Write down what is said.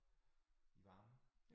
I varmen